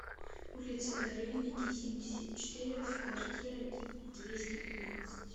улица горельники семьдесят четыре в квартира двести пятнадцать